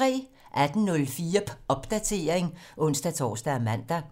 18:04: Popdatering (ons-tor og man)